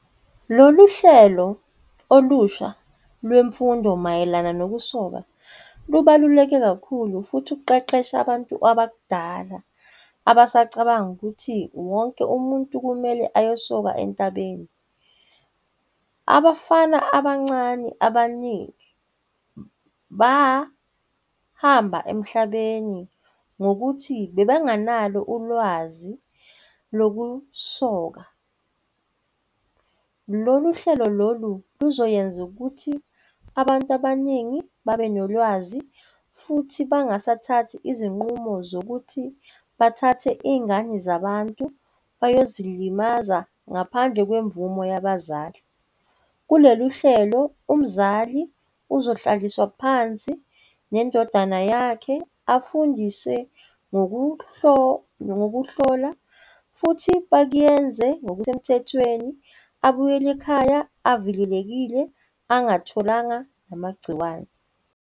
Lolu hlelo olusha lwemfundo mayelana nokusoka lubaluleke kakhulu futhi luqeqesha abantu abadala abasacabanga ukuthi wonke umuntu kumele ayosoka entabeni. Abafana abancane abaningi bahamba emhlabeni ngokuthi bebanganalo ulwazi lokusoka. Lolu hlelo lolu luzoyenza ukuthi abantu abaningi babe nolwazi futhi bangasathathi izinqumo zokuthi bathathe iy'ngane zabantu bayozilimaza ngaphandle kwemvume yabazali. Kulolu hlelo umzali uzohlaliswa phansi nendodana yakhe afundiswe ngokuhlola futhi bakuyenze ngokusemthethweni abuyele ekhaya avikelekile, angatholanga namagciwane.